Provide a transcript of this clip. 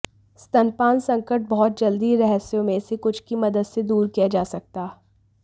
स्तनपान संकट बहुत जल्दी रहस्यों में से कुछ की मदद से दूर किया जा सकता